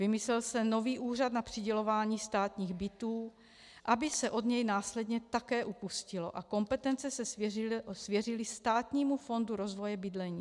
Vymyslel se nový úřad na přidělování státních bytů, aby se od něj následně také upustilo a kompetence se svěřily Státnímu fondu rozvoje bydlení.